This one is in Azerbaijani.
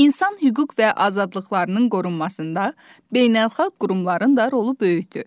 İnsan hüquq və azadlıqlarının qorunmasında beynəlxalq qurumların da rolu böyükdür.